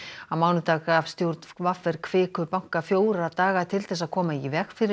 á mánudag gaf stjórn v r Kviku banka fjóra daga til þess að koma í veg fyrir